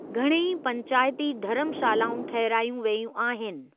घणेई पैंचाइती धर्मशालाऊं ठहिरायूं वेयूं आहिनि।